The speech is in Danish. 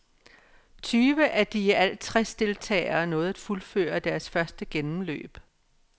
Tyve af de i alt tres deltagere nåede at fuldføre deres første gennemløb.